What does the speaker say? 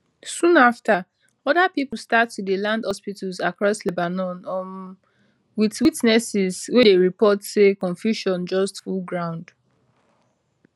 soon after oda pipo start to dey land hospitals across lebanon um with witnesses wey dey report say confusion just full ground